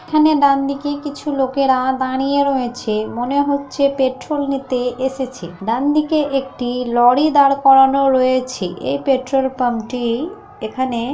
এখানে ডান দিকে কিছু লোকেরা দাঁড়িয়ে রয়েছে। মনে হচ্ছে পেট্রোল নিতে এসেছে। ডানদিকে একটি লরি দাঁড় করানো রয়েছে। এই পেট্রোল পাম্প টি এখানে।